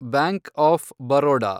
bank of Baroda